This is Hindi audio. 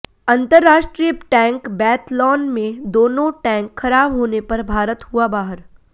अंतरराष्ट्रीय टैंक बैथलॉन में दोनों टैंक खराब होने पर भारत हुआ बाहर